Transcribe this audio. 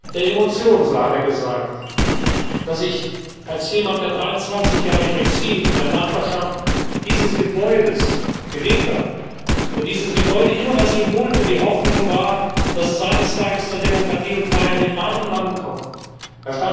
der Emotion, so hat er gesagt, dass ich als jemand, der 23 Jahre im Exil in der Nachbarschaft dieses Gebäudes gelebt hat, wo dieses Gebäude immer das Symbol für die Hoffnung war, dass es eines Tages zur Demokratie und Freiheit in meinem Land kommt, hier empfangen werde.